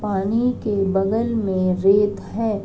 पानी के बगल में रेत है।